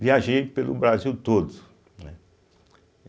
Viajei pelo Brasil todo né.